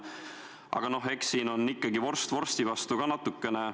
Aga noh, eks siin on ikkagi vorst vorsti vastu ka natukene.